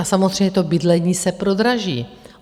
A samozřejmě to bydlení se prodraží.